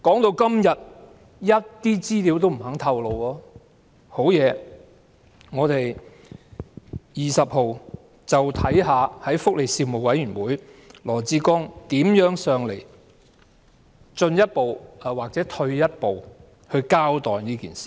我們且看看在本月12日的福利事務委員會上，羅致光局長如何向我們進一步或退一步交代事件吧。